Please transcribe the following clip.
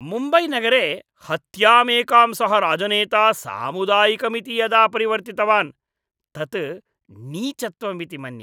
मुम्बैनगरे हत्यामेकां सः राजनेता सामुदायिकमिति यदा परिवर्तितवान् तत् नीचत्वमिति मन्ये।